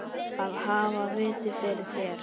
Að hafa vit fyrir þér?